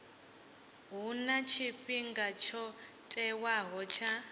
huna tshifhinga tsho tiwaho tsha